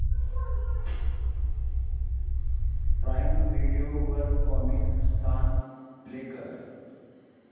prime Video वर Comicstaan play कर